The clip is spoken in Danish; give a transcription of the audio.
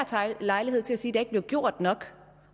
lejlighed til at sige at der ikke blev gjort nok